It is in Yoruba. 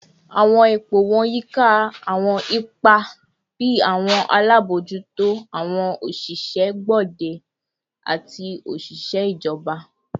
Awọn ipo wọn yika awọn ipa bii awọn alabojuto, awọn oṣiṣẹ gbode, ati oṣiṣẹ ijọba